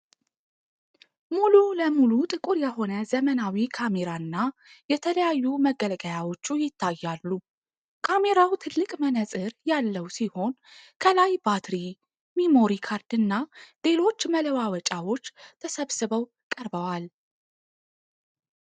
ሙሉ ለሙሉ ጥቁር የሆነ ዘመናዊ ካሜራና የተለያዩ መገልገያዎቹ ይታያሉ። ካሜራው ትልቅ መነፅር ያለው ሲሆን፣ ከላይ ባትሪ፣ ሜሞሪ ካርድና ሌሎች መለዋወጫዎች ተሰብስበው ቀርበዋል።